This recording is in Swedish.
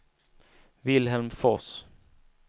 Vilhelm Fors